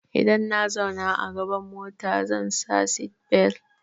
Idan na zauna a gaban mota zan sa seatbelt.